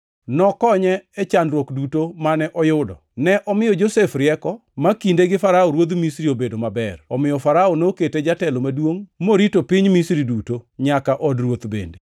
nokonye e chandruok duto mane oyudo. Ne omiyo Josef rieko ma kinde gi Farao ruodh Misri obedo maber. Omiyo Farao nokete jatelo maduongʼ morito piny Misri duto, nyaka od ruoth bende.